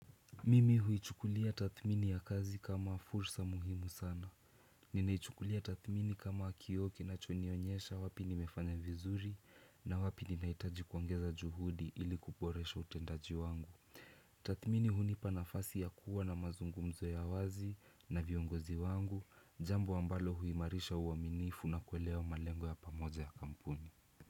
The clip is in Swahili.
Mimi huichukulia tathmini ya kazi kama fursa muhimu sana. Ninaichukulia tathmini kama kioo kinachonionyesha wapi nimefanya vizuri na wapi ninahitaji kuongeza juhudi ilikuboresha utendaji wangu. Tathmini hunipa nafasi ya kuwa na mazungumzo ya wazi na viongozi wangu, jambo ambalo huimarisha uaminifu na kuelewa malengo ya pamoja ya kampuni.